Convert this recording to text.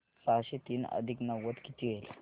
सहाशे तीन अधिक नव्वद किती होतील